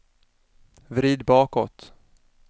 vrid bakåt